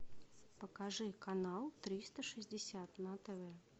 покажи канал триста шестьдесят на тв